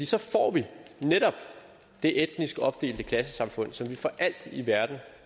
så får netop det etnisk opdelte klassesamfund som vi for alt i verden